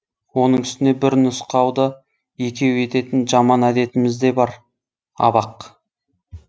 оның үстіне бір нұсқауды екеу ететін жаман әдетіміз де бар абақ